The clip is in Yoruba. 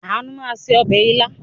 Àánú máa se ọbẹ̀ ilá.